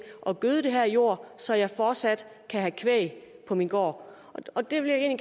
at gøde den her jord så jeg fortsat kan have kvæg på min gård og det vil jeg